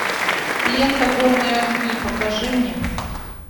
лента горные огни покажи мне